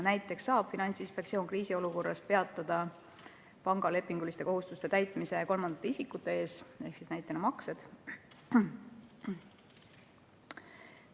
Näiteks saab Finantsinspektsioon kriisiolukorras peatada panga lepinguliste kohustuste täitmise kolmandate isikute ees, näiteks maksete tegemise.